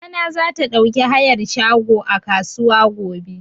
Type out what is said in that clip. Mama na za ta ɗauki hayar shago a kasuwa gobe